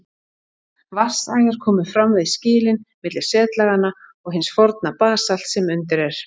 Vatnsæðar komu fram við skilin milli setlaganna og hins forna basalts sem undir er.